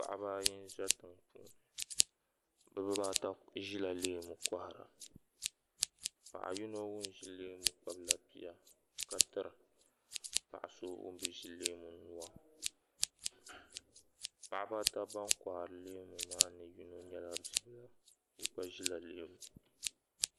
paɣaba ayi n za tiŋpuuni bɛ bibaa ata zirila leemu n kohara paɣa yino ŋun ʒi leemu kpabla bia ka tiri paɣa so ŋun bɛ ʒi leemu nua paɣaba ata maa ban kohari leemu maa puuni yino nyɛla bibla o gba ʒila leemu